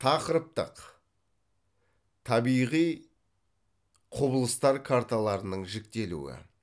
тақырыптық табиғи құбылыстар карталарының жіктелуі